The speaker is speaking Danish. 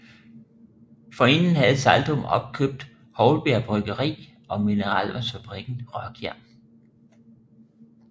Forinden havde Saltum opkøbt Houlbjerg Bryggeri og mineralvandsfabrikken Rørkjær